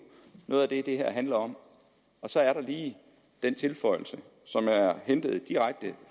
noget af det det her handler om så er der lige den tilføjelse som er hentet direkte